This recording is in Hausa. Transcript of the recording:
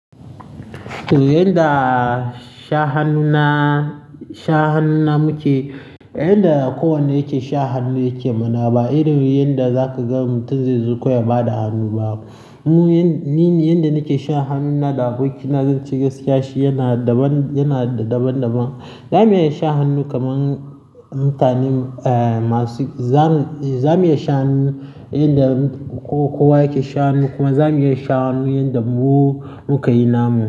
To, yanda sha hannuna, sha hannuna muke, yanda kowane yake sha hannu yake mana. Ba irin yanda zaka ga mutum zai zo kawai ya ba da hannu ba. Mu, ni yanda nake sha hannuna da abokina zan ce gaskiya shi yana daban, yana da daban-daban. Zamu iya sha hannu kaman mutane masu, za mu, zamu iya sha hannu yanda kowa yake sha hannu kuma zamu iya sha hannu yanda mu muka yi namu.